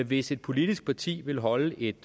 hvis et politisk parti vil holde et